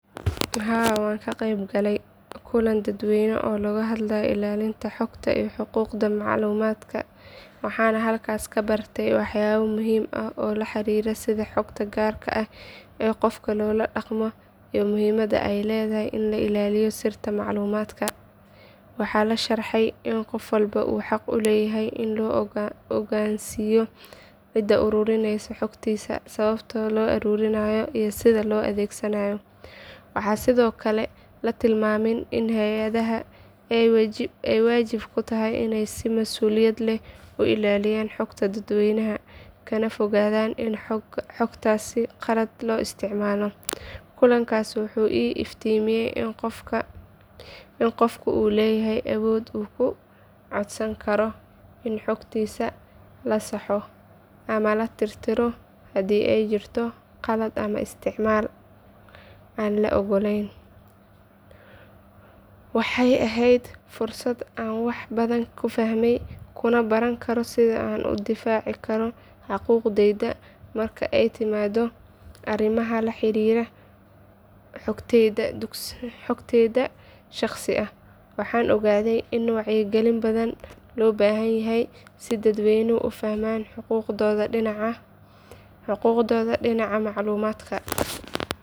Haa waxaan ka qayb galay kulan dadweyne oo looga hadlayay ilaalinta xogta iyo xuquuqda macluumaadka waxaana halkaas ka bartay waxyaabo muhiim ah oo la xiriira sida xogta gaarka ah ee qofka loola dhaqmo iyo muhiimadda ay leedahay in la ilaaliyo sirta macluumaadka. Waxaa la sharaxay in qof walba uu xaq u leeyahay in la ogaansiyo cidda uruurineysa xogtiisa sababta loo uruurinayo iyo sida loo adeegsanayo. Waxaa sidoo kale la tilmaamay in hay’adaha ay waajib ku tahay inay si masuuliyad leh u ilaaliyaan xogta dadweynaha kana fogaadaan in xogtaas si khaldan loo isticmaalo. Kulankaas wuxuu ii iftiimiyay in qofku uu leeyahay awood uu ku codsan karo in xogtiisa la saxo ama la tirtiro haddii ay jirto khalad ama isticmaal aan la ogoleyn. Waxay ahayd fursad aan wax badan ku fahmay kuna baran karo sida aan u difaacan karo xuquuqdayda marka ay timaado arrimaha la xiriira xogtayda shaqsiga ah. Waxaan ogaaday in wacyigelin badan loo baahan yahay si dadweynuhu u fahmaan xuquuqdooda dhinaca macluumaadka.